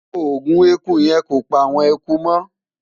ògún ẹkú yen kọ pa awọn ẹkú mo